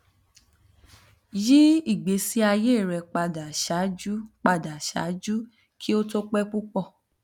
yi igbesi aye rẹ pada ṣaaju pada ṣaaju ki o to pẹ pupọ